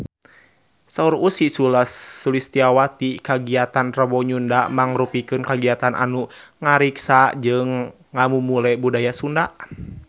Saur Ussy Sulistyawati kagiatan Rebo Nyunda mangrupikeun kagiatan anu ngariksa jeung ngamumule budaya Sunda